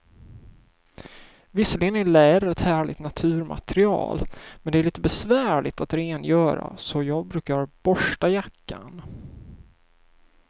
Visserligen är läder ett härligt naturmaterial, men det är lite besvärligt att rengöra, så jag brukar borsta jackan.